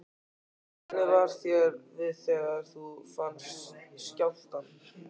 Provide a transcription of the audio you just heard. Logi: Hvernig var þér við þegar þú fannst skjálftann?